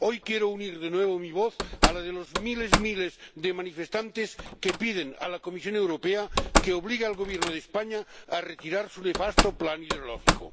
Hoy quiero unir de nuevo mi voz a la de los miles y miles de manifestantes que piden a la Comisión Europea que obligue al Gobierno de España a retirar su nefasto plan hidrológico.